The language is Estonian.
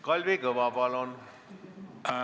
Kalvi Kõva, palun!